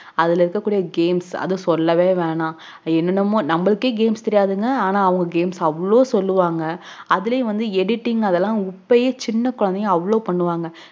அதுல இருக்ககூடிய games அத சொல்லவே வேண்டாம் என்னனமோ நமக்க games தெரியாதுங்க ஆனா அவங்க அவ்ளோ games சொல்லுவாங்க அதுலயும் வந்து editing அதலாம் உப்ப சின்ன கொழந்தைங்க அவ்ளோ பண்ணுவாங்க